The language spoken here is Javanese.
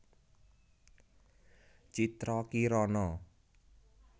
Citra Kirana